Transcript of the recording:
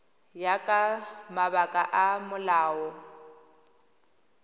ya ka mabaka a molao